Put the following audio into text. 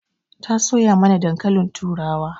Ta soya mana dankalin turawa.